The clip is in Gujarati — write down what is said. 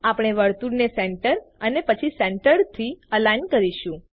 આપણે વર્તુળને સેન્ટર અને પછી સેન્ટર્ડ થી અલાઇન કરીશું